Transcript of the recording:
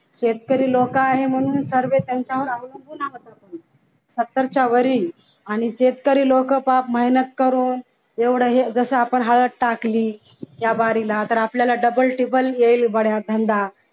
शेतकरी लोक आहेत म्हणून सर्व त्यांच्यावर अवलंबून आहेत सत्तरच्या वरही आणि शेतकरी लोक हा महिन्यात करून जस हे एवढं जसा आपण हळद टाकले त्या वारीला तर आपल्याला double टिबल येईल या धंदा